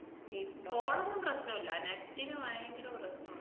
ഇപ്പോളൊന്നും പ്രശ്നം ഇല്ല, net ന് ഭയങ്കര പ്രശ്നോണ്.